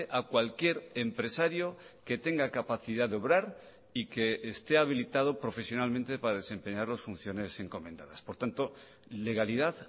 a cualquier empresario que tenga capacidad de obrar y que esté habilitado profesionalmente para desempeñar las funciones encomendadas por tanto legalidad